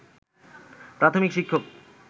প্রাথমিক শিক্ষক